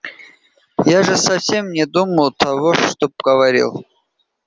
я же совсем не думал того что говорил